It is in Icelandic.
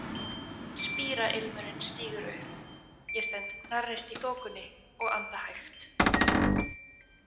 Spírailmurinn stígur upp, ég stend hnarreist í þokunni og anda hægt.